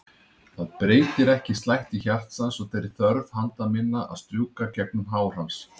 Það breytir ekki slætti hjartans og þeirri þörf handa minna að strjúka gegnum hár hans.